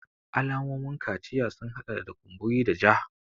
Alamomin kaciya sun hada da kumburi da ja